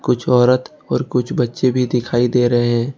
कुछ औरत और कुछ बच्चे भी दिखाई दे रहे हैं।